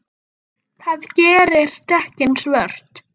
Smá lokk af hárinu.